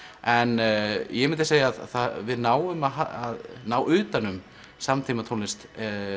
en ég myndi segja að við náum að ná utan um samtímatónlist